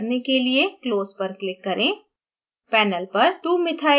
dialog box बंद करेने के लिए close पर click करें